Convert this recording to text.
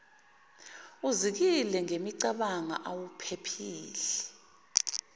uzikile ngemicabango awuphephile